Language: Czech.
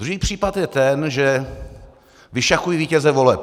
Druhý případ je ten, že vyšachuji vítěze voleb.